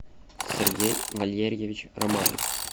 сергей валерьевич романов